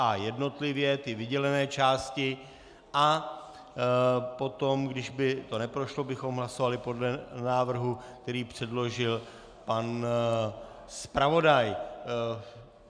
A jednotlivě, ty vydělené části, a potom, když by to neprošlo, bychom hlasovali podle návrhu, který předložil pan zpravodaj.